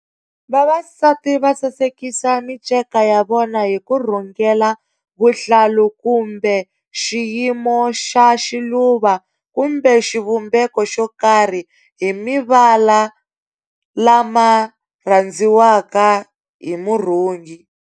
Vavasati va sasekisa minceka ya vona hi ku rhungela vuhlalu kumbe xiyimo xa xiluva kumbe xivumbeko xokarhi hi mivala lama rhandziwaka hi murhungi.